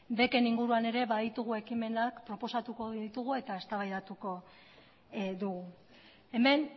beken inguruan ere baditugu ekimenak proposatuko ditugu eta eztabaidatuko dugu hemen